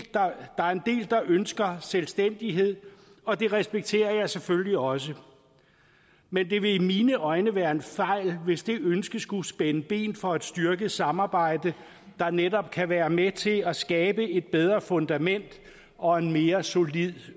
der ønsker selvstændighed og det respekterer jeg selvfølgelig også men det vil i mine øjne være en fejl hvis det ønske skulle spænde ben for et styrket samarbejde der netop kan være med til at skabe et bedre fundament og en mere solid